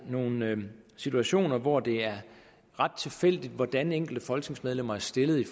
nogle situationer hvor det er ret tilfældigt hvordan de enkelte folketingsmedlemmer er stillet i